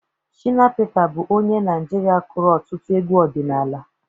Shịna Pịta bụ onye Naịjirịa kụrụ ọtụtụ egwu ọdịnala.